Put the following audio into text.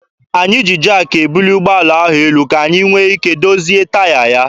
Anyị ji jaakị ebuli ụgbọala ahụ elu ka anyị nwee ike dozie taya ya.